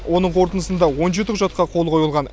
оның қорытындысында он жеті құжатқа қол қойылған